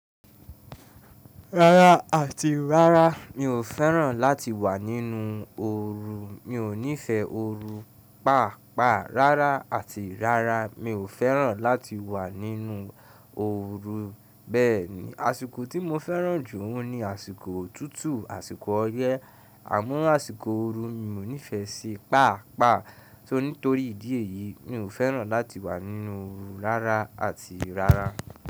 Rárá àti rárá mi ò fẹ́ràn láti wà nínú ooru, mi ò nífẹ̀ẹ́ ooru pàápàá rárá àti rárá mi ò fẹ́ràn láti wà nínú ooru. Bẹ́ẹ̀ni, àsìkò tí mo fẹ́ràn jù óun ní àsìkò òtútù, àsìkò ọyẹ́ àmọ́ àsìkò ooru mi ò nífẹ̀ẹ́ ṣi pàápàá tó. Nítorí ìdí èyí mi ò fẹ́ràn láti wà nínú ooru rárá àti rárá.